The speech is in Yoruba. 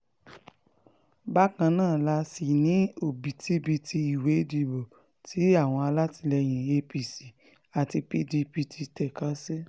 bákan náà la sì ní òbítíbitì ìwé ìdìbò tí àwọn alátìlẹyìn apc àti pdp ti tẹ́ka sí